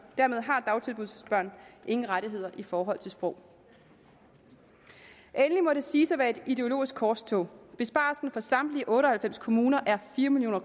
dermed har dagtilbudsbørn ingen rettigheder i forhold til sprog endelig må det siges at være et ideologisk korstog besparelsen for samtlige otte og halvfems kommuner er fire million